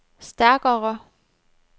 stærkere